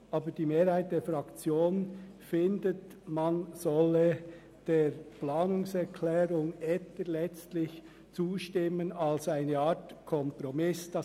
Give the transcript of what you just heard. Die Mehrheit der Fraktion ist aber der Auffassung, letztlich solle der Planungserklärung Etter im Sinn eines Kompromisses zugestimmt werden.